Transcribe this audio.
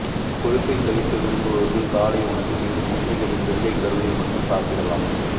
கொழுப்பை தவிர்க்க விரும்புபவர்கள் காலை உணவில் இரு முட்டைகளின் வெள்ளைக் கருவை மட்டும் சாப்பிடலாம்